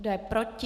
Kdo je proti?